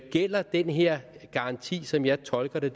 gælder den her garanti som jeg tolker det